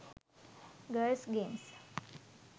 girls games